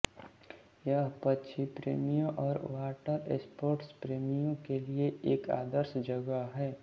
यह पक्षी प्रेमियों और वाटरस्पोर्टस प्रेमियों के लिए एक आदर्श जगह है